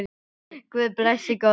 Guð blessi góðan dreng.